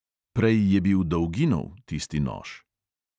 Prej je bil dolginov, tisti nož.